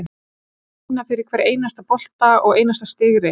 Við þurfum að vinna fyrir hverjum einasta bolta og einasta sigri.